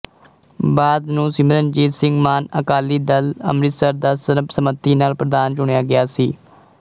ਬਾਅਦ ਨੂੰ ਸਿਮਰਨਜੀਤ ਸਿੰਘ ਮਾਨ ਅਕਾਲੀ ਦਲ ਅੰਮ੍ਰਿਤਸਰ ਦਾ ਸਰਬਸੰਮਤੀ ਨਾਲ ਪ੍ਰਧਾਨ ਚੁਣਿਆ ਗਿਆ ਸੀ